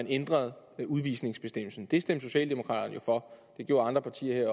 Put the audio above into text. ændrede udvisningsbestemmelsen det stemte socialdemokraterne jo for det gjorde andre partier i